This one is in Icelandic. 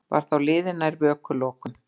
Var þá liðið nær vökulokum.